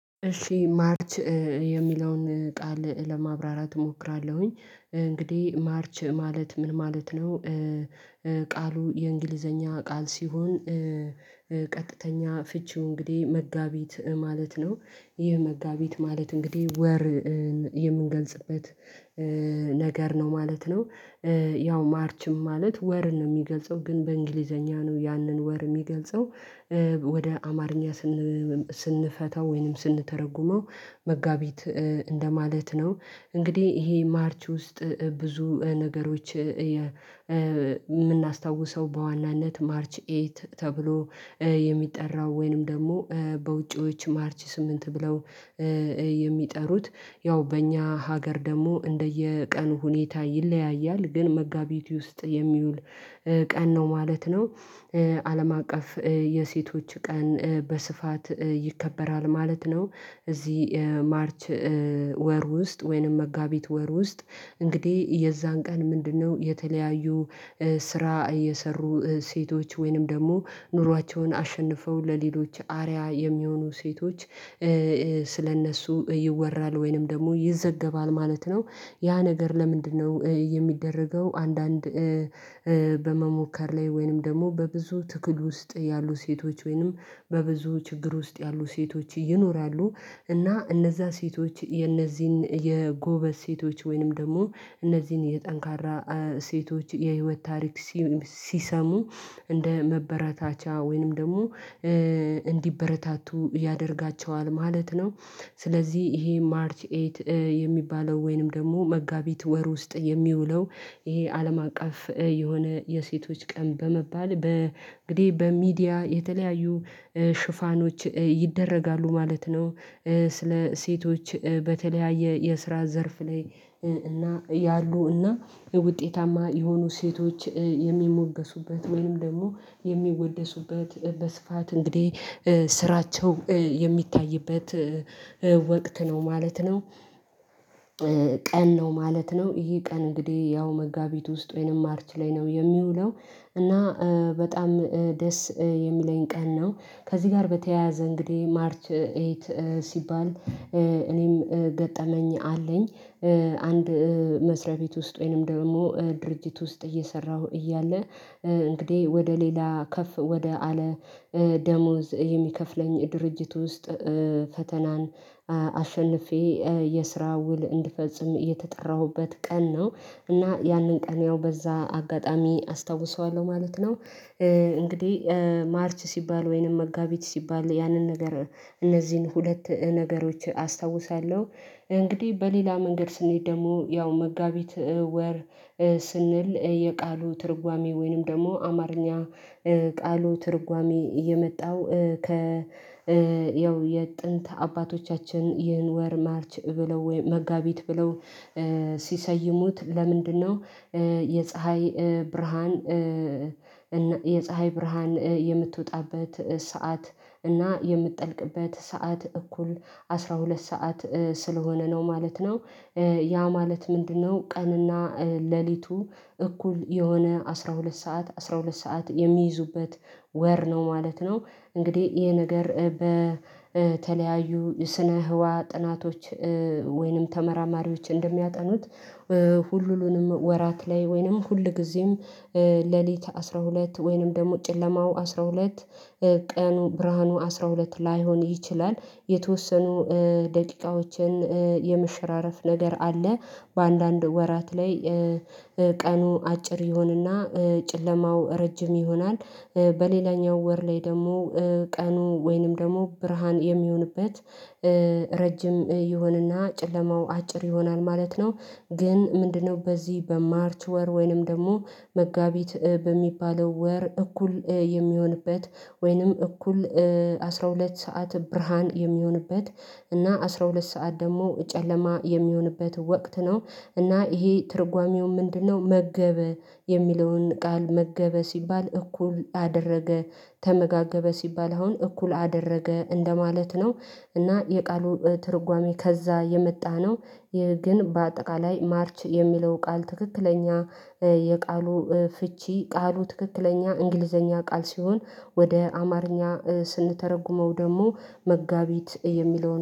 እሺ ማርች የሚለውን ቃል ለማብራራት እሞክራለሁኝ እንግዲህ ማርች ማለት ምን ማለት ነው? ቃሉ የእንግሊዘኛ ቃል ሲሆን ቀጥተኛ ፍቺው እንግዲህ መጋቢት ማለት ነው። ይህ መጋቢት ማለት እንግዲህ ወር የምንገልጽበት ነገር ነው ማለት ነው። ያው ማርችም ማለት ወርን ነው የሚገልጸው ግን በእንግሊዘኛ ነው ያንን ወር የሚገልጸው ወደ አማርኛ ስንፈታው ወይንም ስንተረጉመው መጋቢት እንደማለት ነው። እንግዲህ ይሄ ማርች ውስጥ ብዙ ነገሮች የምናስታውሰው በዋናነት ማርች ኤት ተብሎ የሚጠራው ወይንም ደግሞ በውጪዎች ማርች ስምንት ብለው የሚጠሩት ያው በእኛ ሀገር ደግሞ እንደየቀኑ ሁኔታ ይለያያል ግን መጋቢት ውስጥ የሚውል ቀን ነው ማለት ነው። አለም አቀፍ የሴቶች ቀን በስፋት ይከበራል ማለት ነው። እዚህ ማርች ወር ውስጥ ወይንም መጋቢት ወር ውስጥ እንግዲህ የዛን ቀን ምንድነው የተለያዩ ስራ እየሰሩ ሴቶች ወይንም ደግሞ ኑሯቸውን አሸንፈው ለሌሎች አርያ የሚሆኑ ሴቶች ስለእነሱ ይወራል ወይንም ደግሞ ይዘገባል ማለት ነው። ያ ነገር ለምንድነው የሚደረገው አንዳንድ በመሞከር ላይ ወይንም ደግሞ በብዙ ትግል ውስጥ ያሉ ሴቶች ወይንም በብዙ ችግር ውስጥ ያሉ ሴቶች ይኖራሉ እና እነዛ ሴቶች የእነዚህን የጎበዝ ሴቶች ወይንም ደግሞ እነዚህን የጠንካራ ሴቶች የህይወት ታሪክ ሲሰሙ እንደ መበረታቻ ወይንም ደግሞ እንዲበረታቱ ያደርጋቸዋል ማለት ነው። ስለዚህ ይሄ ማርች ኤት የሚባለው ወይንም ደግሞ መጋቢት ወር ውስጥ የሚውለው ይሄ አለም አቀፍ የሆነ የሴቶች ቀን በመባል በ በሚዲያ የተለያዩ ሽፋኖች ይደረጋሉ ማለት ነው። ስለ ሴቶች በተለያየ የስራ ዘርፍ ላይ እና ያሉ እና ውጤታማ የሆኑ ሴቶች የሚሞገሱበት ወይም ደግሞ የሚወደሱበት በስፋት እንግዲህ ስራቸው የሚታይበት ወቅት ነው ማለት ነው። ቀን ነው ማለት ነው ይሄ ቀን እንግዲህ ያው መጋቢት ውስጥ ወይንም ማርች ላይ ነው የሚውለው እና በጣም ደስ የሚለኝ ቀን ነው። ከዚህ ጋር በተያያዘ እንግዲህ ማርች ኤት ሲባል እኔም ገጠመኝ አለኝ። አንድ መስሪያ ቤት ውስጥ ወይንም ደግሞ ድርጅት ውስጥ እየሰራሁ እያለ እንግዲህ ወደ ሌላ ከፍ ወደ አለ ደሞዝ የሚከፍለኝ ድርጅት ውስጥ ፈተናን አሸንፌ የስራ ውል እንድፈጽም የተጠራሁበት ቀን ነው። እና ያንን ቀን ያው በዛ አጋጣሚ አስታውሰዋለሁ ማለት ነው። እንግዲህ ማርች ሲባል ወይንም መጋቢት ሲባል ያንን ነገር እነዚህን ሁለት ነገሮች አስታውሳለሁ። እንግዲህ በሌላ መንገድ ስንሄድ ደግሞ ያው መጋቢት ወር ስንል የቃሉ ትርጓሜ ወይንም ደግሞ አማርኛ ቃሉ ትርጓሜ የመጣው ከ ያው የጥንት አባቶቻችን ይህን ወር ማርች ብለው ወይ መጋቢት ብለው ሲሰይሙት ለምንድነው? የፀሀይ ብርሃን የፀሀይ ብርሃን የምትወጣበት ሰዓት እና የምትጠልቅበት ሰዓት እኩል አስራ ሁለት ሰዓት ስለሆነ ነው ማለት ነው። ያ ማለት ምንድነው ቀን እና ሌሊቱ እኩል የሆነ አስራ ሁለት ሰዓት አስራ ሁለት ሰዓት የሚይዙበት ወር ነው ማለት ነው። እንግዲህ ይሄ ነገር በተለያዩ ስነ ህዋ ጥናቶች ወይንም ተመራማሪዎች እንደሚያጠኑት ሁሉንም ወራት ላይ ወይንም ሁልጊዜም ሌሊት አስራ ሁለት ወይንም ደግሞ ጨለማው አስራ ሁለት ቀኑ ብርሃኑ አስራ ሁለት ላይሆን ይችላል። የተወሰኑ ደቂቃዎችን የመሽራረፍ ነገር አለ በአንዳንድ ወራት ላይ ቀኑ አጭር ይሆን እና ጨለማው ረጅም ይሆናል በሌላኛው ወር ላይ ደግሞ ቀኑ ወይንም ደግሞ ብርሃን የሚሆንበት ረጅም ይሆን እና ጨለማው አጭር ይሆናል ማለት ነው። ግን ምንድነው በዚህ በማርች ወር ወይንም ደግሞ መጋቢት በሚባለው ወር እኩል የሚሆንበት ወይንም እኩል አስራ ሁለት ሰዓት ብርሃን የሚሆንበት እና አስራ ሁለት ሰዓት ደግሞ ጨለማ የሚሆንበት ወቅት ነው እና ይሄ ትርጓሜው ምንድነው? መገበ የሚለውን ቃል መገበ ሲባል እኩል አደረገ ተመጋገበ ሲባል አሁን እኩል አደረገ እንደማለት ነው። እና የቃሉ ትርጓሜ ከዛ የመጣ ነው። ይህ ግን በአጠቃላይ ማርች የሚለው ቃል ትክክለኛ የቃሉ ፍቺ ቃሉ ትክክለኛ እንግሊዘኛ ቃል ሲሆን ወደ አማርኛ ስንተረጉመው ደግሞ መጋቢት የሚለውን